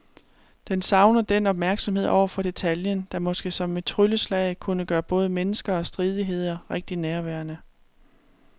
Den savner den opmærksomhed over for detaljen, der måske som et trylleslag kunne gøre både mennesker og stridigheder rigtig nærværende.